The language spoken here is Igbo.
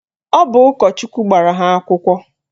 Ọ bụ ụkọchukwu gbara ha akwụkwọ